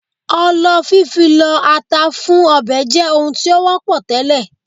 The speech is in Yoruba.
Ọlọ fífi lọ ata fún ọbẹ̀ jẹ́ ohun tí ó wọ́pọ̀ tẹ́lẹ̀